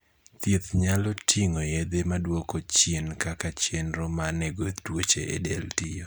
thieth nyalo ting'o yedhe maduoko chien kaka chenro manego tuoche e del tiyo